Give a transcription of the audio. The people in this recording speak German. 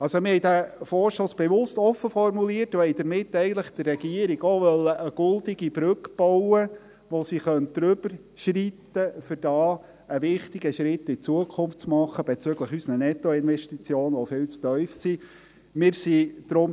Wir formulierten den Vorstoss bewusst offen und wollten damit der Regierung eigentlich eine goldene Brücke bauen, über welche sie schreiten könnte, um bezüglich unserer Nettoinvestitionen, welche viel zu tief sind, einen wichtigen Schritt in die Zukunft zu machen.